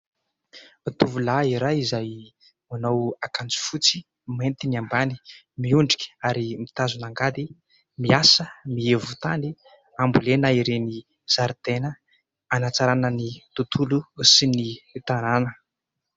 Tovolahy iray izay manao akanjo fotsy mainty ny ambany miondrika ary mitazona angady miasa mihevo tany hambolena ireny zaridaina hanantsarana ny tontolo sy ny tanàna